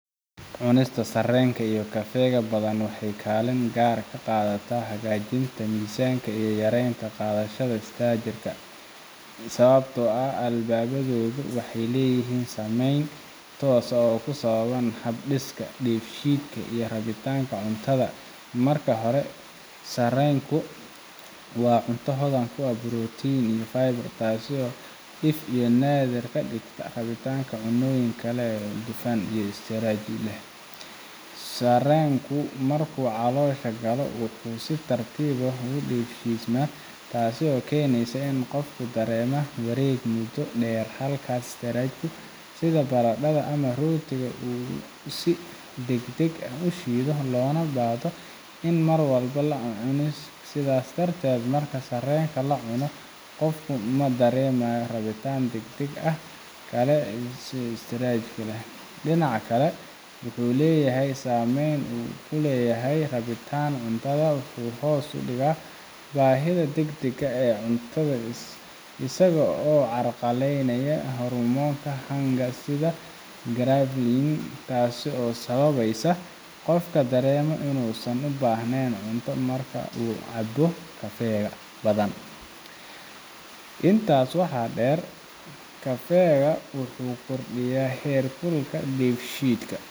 cunista sarrenka iyo kafeega badan waxay kaalin gaar ah ka qaadataa hagaajinta miisaanka iyo yareynta qaadashada istaarijka sababtoo ah labadooduba waxay leeyihiin saameyn toos ah oo ku saabsan hab-dhiska dheefshiidka iyo rabitaanka cuntada marka hore sarranku waa cunto hodan ku ah borotiin iyo fiber taasoo dhif iyo naadir ka dhigta rabitaanka cunnooyin kale oo dufan iyo istaarij leh sarranku markuu caloosha galo wuxuu si tartiib ah u dheefshiimaa taasoo keenaysa in qofku dareemo dhereg muddo dheer halka istaarijku sida baradhada ama rootiga uu si degdeg ah u shido loona baahdo in mar kale la cuno sidaas darteed marka sarrenka la cuno qofku ma dareemayo rabitaan degdeg ah oo cunto kale oo istaarij leh dhinaca kale kafeega wuxuu leeyahay saameyn uu ku leeyahay rabitaanka cuntada wuxuuna hoos u dhigaa baahida degdegga ah ee cuntada isagoo carqaladeynaya hormoonka hunger-ka sida ghrelin taasoo sababaysa in qofka dareemo inuusan u baahnayn cunto marka uu cabbo kafeega badan intaa waxaa dheer kafeega wuxuu kordhiyaa heerka dheef-shiidka